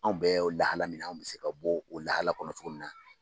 Anw bɛ lahala min na an bɛ se ka bɔ o lahala kɔnɔ cogo min na